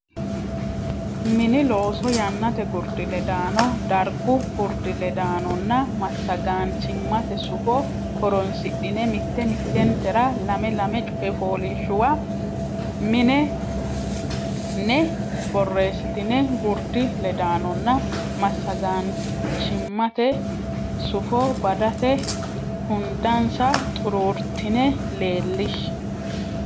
Mini Looso Yannate gurdi ledaano dargu gurdi ledaanonna massagaanchimmate sufo horonsidhine mitte mittentera lame lame coy fooliishshuwa mine ne borreessitine gurdi ledaanonna massagaanchimmate sufo badate hundansa xuruurtine leellishshe.